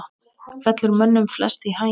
fellur mönnum flest í haginn